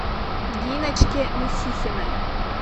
диночке мусихиной